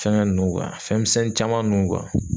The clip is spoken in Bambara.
Fɛngɛ ninnu fɛn misɛnnin caman ninnu